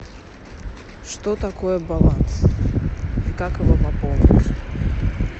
что такое баланс и как его пополнить